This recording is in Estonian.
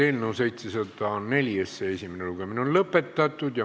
Eelnõu 704 esimene lugemine on lõpetatud.